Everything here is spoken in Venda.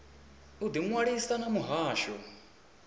u ḓi ṅwalisa na muhasho